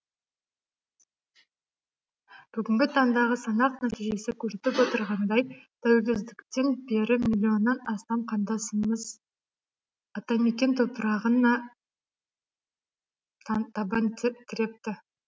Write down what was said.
бүгінгі таңдағы санақ нәтижесі көрсетіп отырғандай тәуелсіздіктен бері милионнан астам қандасымыз атамекен топырағына табан тірепті